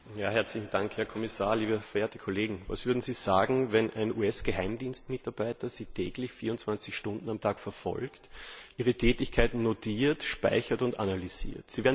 Frau Präsidentin, Herr Kommissar, liebe Kolleginnen und Kollegen! Was würden Sie sagen, wenn ein US Geheimdienst Mitarbeiter Sie täglich 24 Stunden lang verfolgt, Ihre Tätigkeiten notiert, speichert und analysiert?